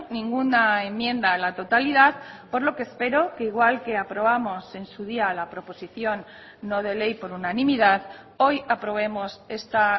ninguna enmienda a la totalidad por lo que espero que igual que aprobamos en su día la proposición no de ley por unanimidad hoy aprobemos esta